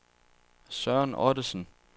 Søren Ottesen